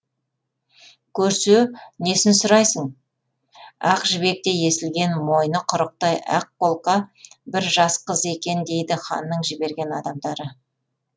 көрсе несін сұрайсың ақ жібектей есілген мойны құрықтай ақ қолқа бір жас қыз екен дейді ханның жіберген адамдары